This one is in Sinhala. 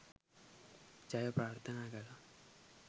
ජය ප්‍රාර්ථනා කළා!.